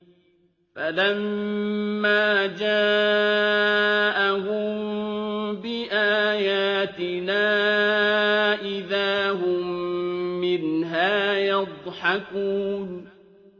فَلَمَّا جَاءَهُم بِآيَاتِنَا إِذَا هُم مِّنْهَا يَضْحَكُونَ